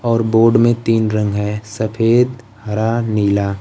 और बोर्ड में तीन रंग है सफेद हरा नीला।